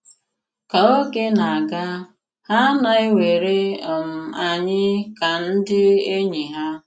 Kà ògè na-àgà, hà na-àwèrè um ànyị̀ ka ndị ènỳí ha.